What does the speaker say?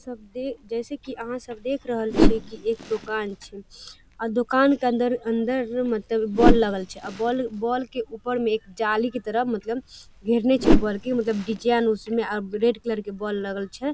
सब देख जैसे की यहाँ सब देख रहल छे की एक दुकान छै अ दुकान के अंदर अंदर मतलब बोल लागल छै अ बोल बोल के ऊपर मे एक जाली के तरह मतलब घेरले छै मतलब डिजाइन उसमे अपग्रेड कर के बोल लगल छै |